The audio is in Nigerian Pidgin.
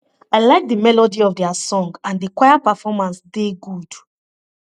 i like the melody of their song and the choir performance dey good